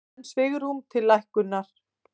Enn svigrúm til lækkunar